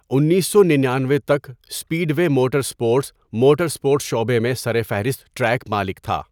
انیسو ننانوے تک، speedway motor sports motor sports شعبے میں سرفہرست ٹریک مالک تھا۔